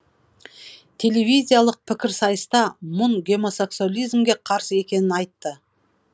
телевизиялық пікірсайыста мұн гомосексуализмге қарсы екенін айтты